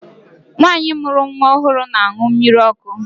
Nwaanyi mụrụ nwa ọhụrụ na-aṅụ mmiri ọkụ.